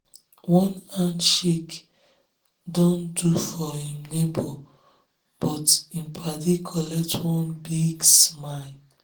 one handshake don do for him neighbor but him paddy collect one big smile.